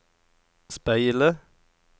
speile